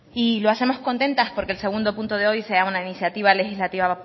y lo hacemos contentas porque el segundo punto de hoy sea una iniciativa legislativa